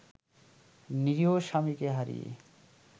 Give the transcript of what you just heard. নিরীহ স্বামীকে হারিয়ে